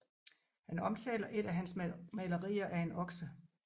Han omtaler et af hans malerier af en okse